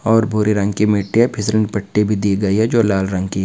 और भूरे रंग की मिट्टी है फिसलन पट्टी भी दी गई है जो लाल रंग की--